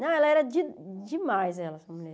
Não, ela era de demais, ela essa mulher.